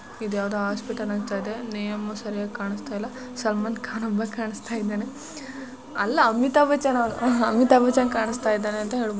ಇದ್ಯಾವುದೋ hospital ಅಂತ ಅನ್ಸ್ತಾ ಇದೆ ನೇಮ್ ಸರ್ಯಾಗ್ ಕಾಣಿಸ್ತಾಇಲ್ಲ ಸಲ್ಮಾನ್ ಖಾನ್ ಒಬ್ಬ ಕಾಣಿಸ್ತಾ ಇದ್ದಾನೆ ಅಲ್ಲ ಅಮಿತಾ ಬಚ್ಚನ್ ಅವ್ನು ಅಮಿತಾ ಬಚ್ಚನ್ ಕಾಣಿಸ್ತಾ ಇದ್ದಾನೆ ಅಂತ ಹೇಳಬ --